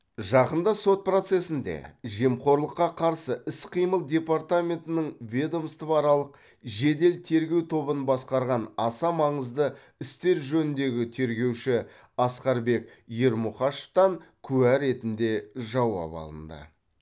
жақында сот процесінде жемқорлыққа қарсы іс қимыл департаментінің ведомствоаралық жедел тергеу тобын басқарған аса маңызды істер жөніндегі тергеуші асқарбек ермұқашевтан куә ретінде жауап алынды